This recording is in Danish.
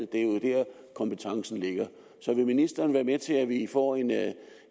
det er der kompetencen ligger så vil ministeren være med til at vi får en